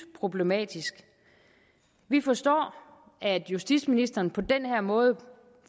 problematisk vi forstår at justitsministeren på den her måde